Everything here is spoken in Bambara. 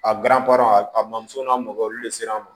A a bamuso n'a mago olu de sera an ma